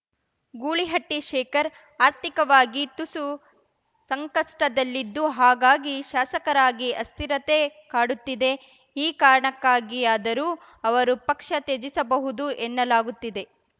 ಗೂಳಿಹಟ್ಟಿಶೇಖರ್‌ ಆರ್ಥಿಕವಾಗಿ ತುಸು ಸಂಕಷ್ಟದಲ್ಲಿದ್ದು ಹಾಗಾಗಿ ಶಾಸಕರಾಗಿ ಅಸ್ಥಿರತೆ ಕಾಡುತ್ತಿದೆ ಈ ಕಾರಣಕ್ಕಾಗಿಯಾದರೂ ಅವರು ಪಕ್ಷ ತ್ಯಜಿಸಬಹುದು ಎನ್ನಲಾಗುತ್ತಿದೆ